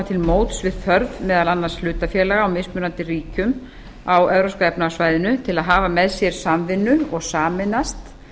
til móts við þörf meðal annars hlutafélaga í mismunandi ríkjum á evrópska efnahagssvæðinu til að hafa með sér samvinnu og sameinast